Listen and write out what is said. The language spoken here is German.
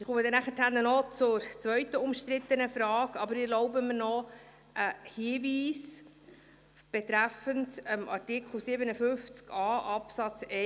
Ich komme nachher noch auf die zweite umstrittene Frage zu sprechen, erlaube mir aber zuerst einen Hinweis betreffend Artikel 57a Absatz